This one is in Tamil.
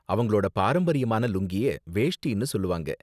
அவங்களோட பாரம்பரியமான லுங்கிய வேஷ்டினு சொல்லுவாங்க.